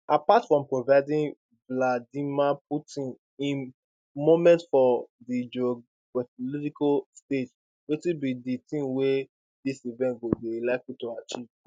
apart from providing vladimir putin im moment for di geopolitical stage wetin be di tin wey dis event go dey likely to achieve